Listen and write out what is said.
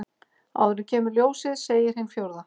Áður en kemur ljósið segir hin fjórða.